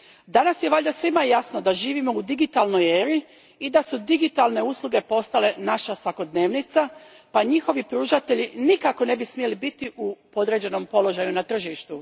Danas je valjda svima jasno da živimo u digitalnoj eri i da su digitalne usluge postale naša svakodnevnica pa njihovi pružatelji nikako ne bi smjeli biti u podređenom položaju na tržištu.